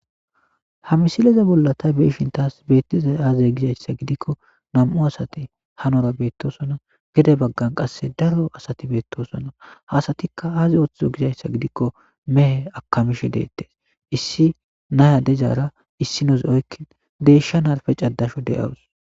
ha misileza bolla ta beeshin taas beettiza aaze gizayssa gidikko nam'u asati hanora beettosona gede baggan qasse daro asati beettosona hasatikka aaze ooththhzo gizayssa gidikko mehe akamishe deettes issi naya dizara issinoz oykkin deeshshan narife cadashe de'awus